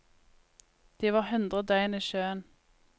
De var hundre døgn i sjøen.